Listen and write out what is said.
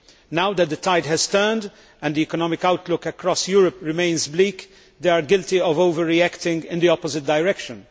Now that the tide has turned, and the economic outlook across Europe remains bleak, they are guilty of overreacting in the opposite direction.